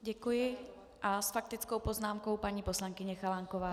Děkuji a s faktickou poznámkou paní poslankyně Chalánková.